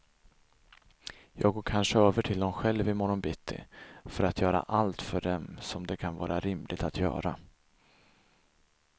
Jag går kanske över till dem själv i morgon bitti, för att göra allt för dem som det kan vara rimligt att göra.